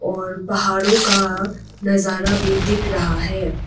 और पहाड़ों का नजारा भी दिख रहा है।